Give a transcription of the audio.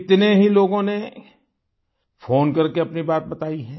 कितने ही लोगों ने फ़ोन करके अपनी बात बताई है